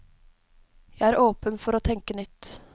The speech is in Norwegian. Jeg er åpen for å tenke nytt.